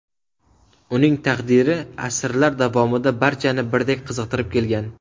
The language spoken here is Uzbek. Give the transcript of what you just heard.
Uning taqdiri asrlar davomida barchani birdek qiziqtirib kelgan.